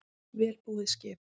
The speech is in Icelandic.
Vel búið skip